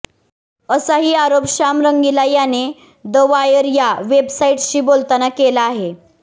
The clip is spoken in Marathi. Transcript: असाही आरोप श्याम रंगिला याने द वायर या वेबसाईटशी बोलताना केला आहे